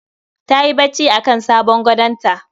Tayi bacci akan sabon gadonta